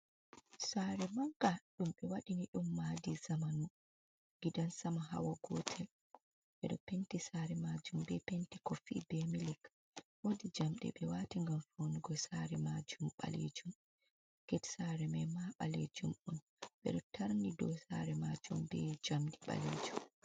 Sare manga ɗum ɓe waɗini ɗum madi zamanu, gidan sama hawa gotel, ɓeɗo penti sare majum be penti kofi be milik, wodi jamɗe ɓe wati ngam fawnugo sare majum ɓalejum, get sare mai ma balejum on ɓeɗo tarni do sare majum be jamdi ɓalejum.